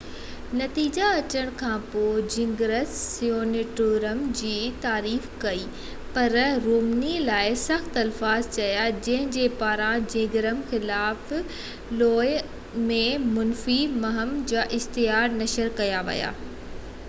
نتيجا اچڻ کانپوءِ جنگرچ سينٽورم جي تعريف ڪئي پر رومني لاءِ سخت الفاظ چيا جن جي پاران جنگرچ خلاف لووا ۾ منفي مهم جا اشتهار نشر ڪيا ويا هئا